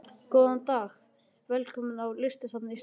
Góðan dag. Velkomin á Listasafn Íslands.